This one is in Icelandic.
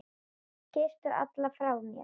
Kysstu alla frá mér.